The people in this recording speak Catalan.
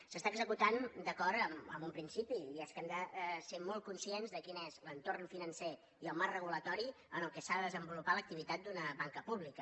s’està executant d’acord amb un principi i és que hem de ser molt conscients de quin és l’entorn financer i el marc regulador en què s’ha de desenvolupar l’activitat d’una banca pública